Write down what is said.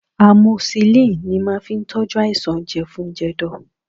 Amoxicillin ni màá fi tọ́jú àìsàn jẹ̀fun-jẹ̀dọ̀